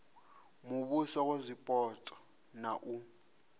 muvhuso wa zwipotso na u